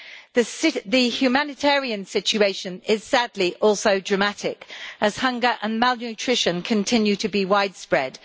The humanitarian situation is sadly also dramatic as hunger and malnutrition continue to be widespread.